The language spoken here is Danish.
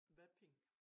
Vaping